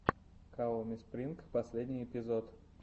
каоми спринг последний эпизод